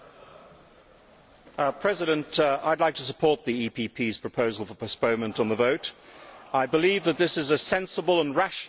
Mr President, I would like to support the EPP's proposal for postponement on the vote. I believe that this is a sensible and rational course of action